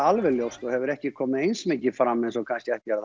alveg ljóst og hefur ekki komið eins mikið fram eins og kannski ætti